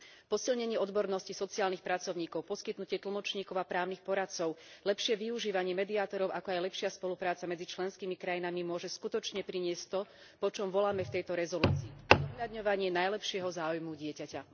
Posilnenie odbornosti sociálnych pracovníkov, poskytnutie tlmočníkov a právnych poradcov, lepšie využívanie mediátorov, ako aj lepšia spolupráca medzi členskými krajinami môže skutočne priniesť to, po čom voláme v tejto rezolúcii zohľadňovanie najlepšieho záujmu dieťaťa.